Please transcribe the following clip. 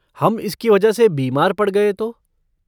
हम इसकी वजह से बीमार पड़ गए तो?